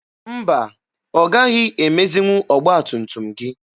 Mba, ọ gaghị emezinwu ọgba tum tum gị.